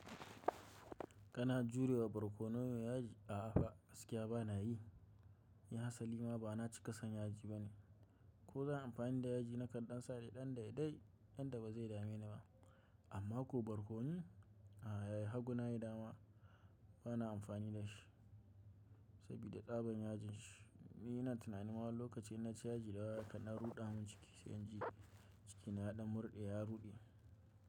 Kana juriwa barkonon yaji? A'a, gaskiya ba na yi. Ni Hassali ma ba na cika san yaji bane. Ko zan yi amfani da yaji na kan sane ɗan daidai yanda ba zai dame ni ba. Amma ko barkono a yayi hagu na yi dama bana amfani da shi saboda tsabon yajin shi. Ni ina tunanin lokacin na ci yaji dayawa yakan dan ruɗa mun ciki sai na ji cikina ya ɗan murɗe ya ruɗe.